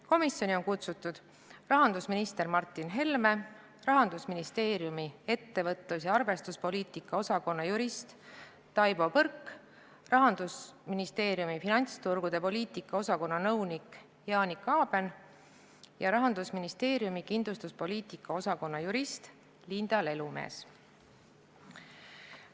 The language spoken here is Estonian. Komisjoni on kutsutud rahandusminister Martin Helme, Rahandusministeeriumi ettevõtlus- ja arvestuspoliitika osakonna jurist Taivo Põrk, Rahandusministeeriumi finantsturgude poliitika osakonna nõunik Janika Aben ja Rahandusministeeriumi kindlustuspoliitika osakonna jurist Linda Lelumees.